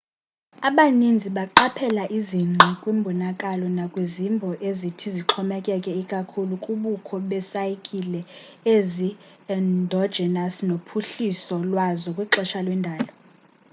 abanintsi baqaphela izingqi kwimbonakalo nakwizimbo ezithi zixhomekeke ikakhulu kubukho be saykile ezi endogenous nophuhliso lwazo kwixesha lwendalo